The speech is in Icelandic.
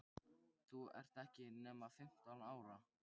Þú ert ekki nema fimmtán ára.